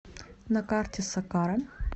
на карте сакара